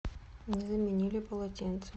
не заменили полотенце